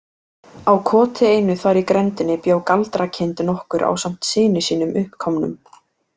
Á koti einu þar í grenndinni bjó galdrakind nokkur ásamt syni sínum uppkomnum.